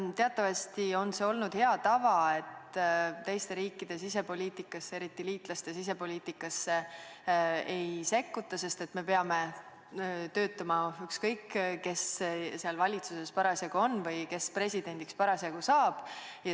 Teatavasti on see olnud hea tava, et teiste riikide sisepoliitikasse, eriti liitlaste sisepoliitikasse ei sekkuta, sest me peame koos töötama, ükskõik, kes parasjagu seal valitsuses on või kes parasjagu presidendiks saab.